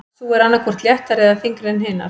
Sú er annað hvort léttari eða þyngri en hinar.